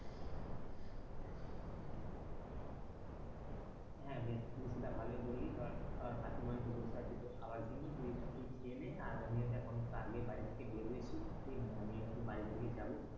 হ্যাঁ বেশ তুই সেইটা ভালোই বললি ধর ধর কাকিমা হয়তো বসে আছে তোর খাবার জন্য তুই খেয়ে নে আর আমি ও দেখ অনেকটা আগে বাড়ি থেকে বের হয়েছি ই মানে আমিও বাড়ির দিকে যাবো,